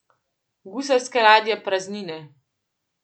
Gusarske ladje praznine.